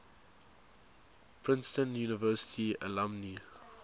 princeton university alumni